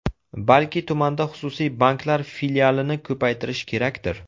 Balki tumanda xususiy banklar filialini ko‘paytirish kerakdir?